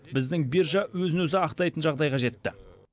біздің биржа өзін өзі ақтайтын жағдайға жетті